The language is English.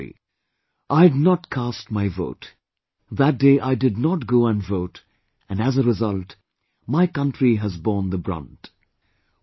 "I had not cast my vote ... that day I did not go and vote ... and as a result, my Country has borne the brunt "